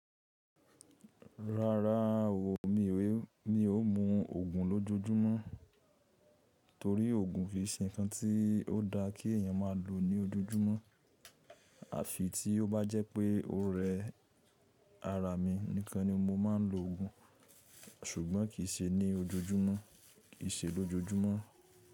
Rárá o, mi ò mú oògùn lójojúmọ́, torí oògùn fi ṣe nǹkan tí ó dáa kí èèyàn má lò ní ojoojúmọ́. À fi tí ó bá jẹ́ pé o rẹ ara mi, níkan ni mo máa ń lo oògùn ṣùgbọ́n kì í ṣe ní ojoojúmọ́, kì í ṣe lójojúmọ́.